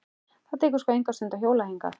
Það tekur sko enga stund að hjóla hingað.